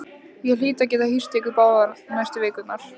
Ég hlýt að geta hýst ykkur báða næstu vikurnar